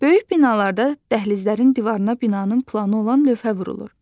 Böyük binalarda dəhlizlərin divarına binanın planı olan lövhə vurulur.